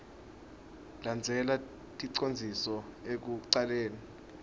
landzela ticondziso ekucaleni